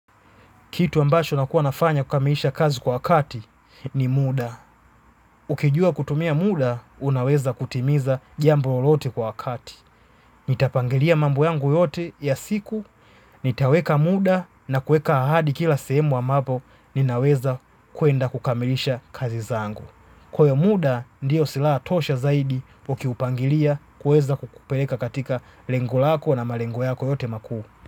Kitu ambacho nakua nafanya kukamilisha kazi kwa wakati ni muda. Ukijua kutumia muda, unaweza kutimiza jambo lolote kwa wakati. Nitapangilia mambo yangu yote ya siku, nitaweka muda na kueka ahadi kila sehemu ambapo, ninaweza kuenda kukamilisha kazi zangu. Kwa hiyo muda, ndiyo silaha tosha zaidi ukiupangilia kuweza kukupeleka katika lengo lako na malengo yako yote makuu.